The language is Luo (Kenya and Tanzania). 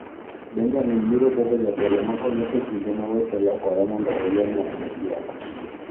Benjamin biro bedo jatelo makonyo e kinde ma weche lokore mondo oyier ng'at adekielo.